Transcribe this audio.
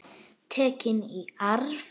Tekin í arf.